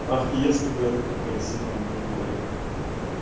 ах если бы я таким красивым был блин